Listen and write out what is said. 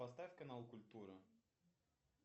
поставь канал культура